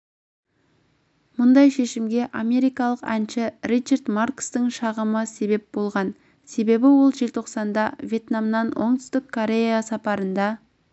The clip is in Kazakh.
мұндай шешімге америкалық әнші ричард маркстің шағымы себеп болған себебі ол желтоқсанда вьетнамнан оңтүстік кореяға сапарында